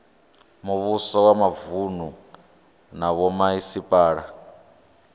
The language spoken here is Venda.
muvhuso wa mavunu na vhomasipala